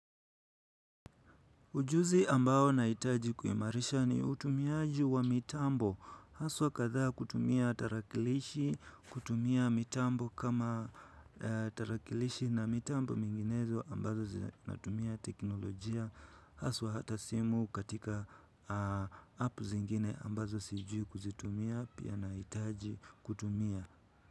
Ujuzi ambao nahitaji kuimarisha ni utumiaji wa mitambo haswa kadhaa kutumia tarakilishi kutumia mitambo kama tarakilishi na mitambo minginezo ambazo zinatumia teknolojia haswa hata simu katika app zingine ambazo sijui kuzitumia pia nahitaji kutumia.